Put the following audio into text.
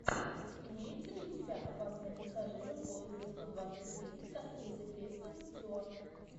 имеется ли у тебя опасные пассажиры поезда сто двадцать три с актрисой кристен стюарт